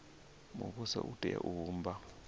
muvhuso u tea u vhumba